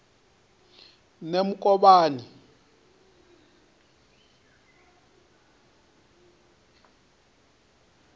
nemukovhani